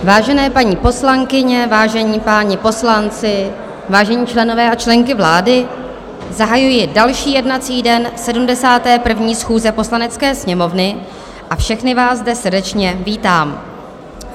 Vážené paní poslankyně, vážení páni poslanci, vážení členové a členky vlády, zahajuji další jednací den 71. schůze Poslanecké sněmovny a všechny vás zde srdečně vítám.